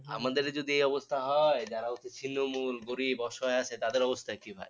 আমাদেরই যদি এই অবস্থা হয় যারা হচ্ছে ছিন্নমূল, গরিব, অসহায় আছে তাদের অবস্থা কি ভাই